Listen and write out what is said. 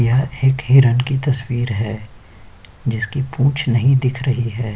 यह एक हिरन की तस्वीर है जिसकी पूंछ नही दिख रही है।